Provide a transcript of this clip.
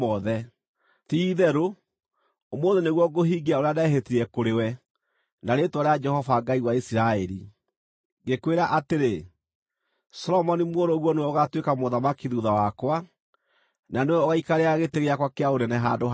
ti-itherũ ũmũthĩ nĩguo ngũhingia ũrĩa ndehĩtire kũrĩ we na rĩĩtwa rĩa Jehova Ngai wa Isiraeli, ngĩkwĩra atĩrĩ: Solomoni mũrũguo nĩwe ũgaatuĩka mũthamaki thuutha wakwa, na nĩwe ũgaikarĩra gĩtĩ gĩakwa kĩa ũnene handũ hakwa.”